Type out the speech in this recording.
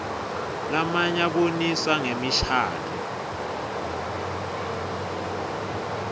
lamnye abonisa ngemishadvo